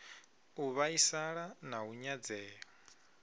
u vhaisala na u nyadzea